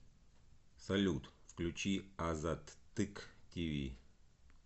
салют включи азаттык ти ви